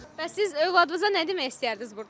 Bəs siz övladınıza nə demək istəyərdiniz burdan?